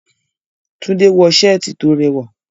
Tunde wọ ṣẹ́ẹ̀tì tó rẹwà.